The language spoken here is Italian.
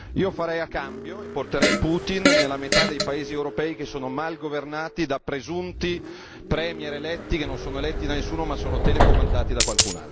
Io farei a cambio e porterei Putin nella metà dei paesi europei che sono mal governati da presunti premier eletti, che non sono eletti da nessuno ma sono telecomandati da qualcun altro.